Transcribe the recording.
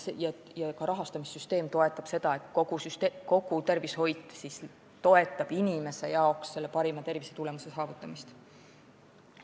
Ka rahastamissüsteem peab toetama seda, et tervishoid toetab inimese jaoks parima tervisetulemuse saavutamist.